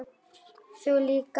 Þú líka.